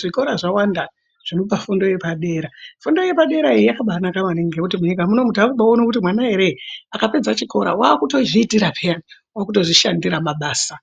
zvikora zvawanda zvinopa fundo yepadera, fundo yepadera yakabanaka maningi ngekuti munyika munomu takubaona kuti mwana ere akapedza chikora wakutozviitira peya wakutozvishandira mabasa.